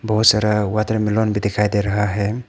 बहुत सारा वाटरमेलन भी दिखाई दे रहा है।